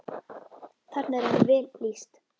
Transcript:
Þarna er henni vel lýst.